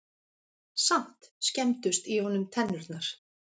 Samt skemmdust í honum tennurnar.